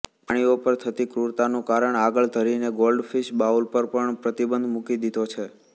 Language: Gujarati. પ્રાણીઓ પર થતી ક્રૂરતાનું કારણ આગળ ધરીને ગોલ્ડફિશ બાઉલ પર પણ પ્રતિબંધ મૂકી દીધો છે